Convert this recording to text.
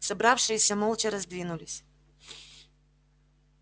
собравшиеся молча раздвинулись